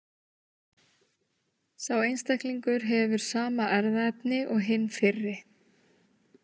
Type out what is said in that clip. Sá einstaklingur hefur sama erfðaefni og hinn fyrri.